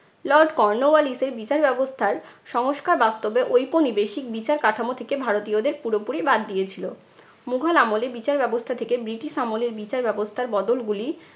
lord কর্নোওয়ালিসের বিচার ব্যবস্থার সংস্কার বাস্তবে ঐপনিবেশিক বিচার কাঠামো থেকে ভারতীয়দের পুরোপুরি বাদ দিয়েছিল। মুঘল আমলের বিচার ব্যবস্থা থেকে ব্রিটিশ আমলের বিচার ব্যবস্থার বদলগুলি